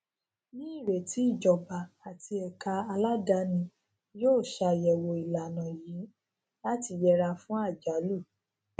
ní ìrètí ìjọba àti ẹka aládàáni yóò ṣàyẹwò ìlànà yìí láti yẹra fún àjálù